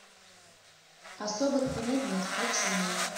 особых примет нет включи мне